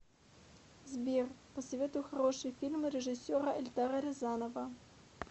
сбер посоветуй хороший фильм режиссера эльдара рязанова